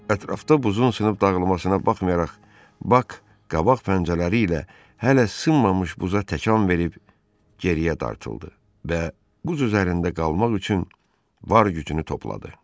Ətrafda buzun sınıb dağılmasına baxmayaraq, bak qabaq pəncələri ilə hələ sınmamış buza təkan verib geriyə dartıldı və buz üzərində qalmaq üçün var gücünü topladı.